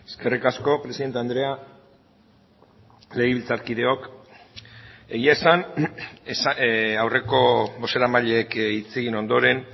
eskerrik asko presidente andrea legebiltzarkideok egia esan aurreko bozeramaileek hitz egin ondoren